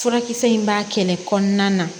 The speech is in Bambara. Furakisɛ in b'a kɛlɛ kɔnɔna na